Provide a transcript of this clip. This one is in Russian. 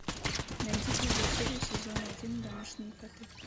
найди первую серию сезона один домашние коты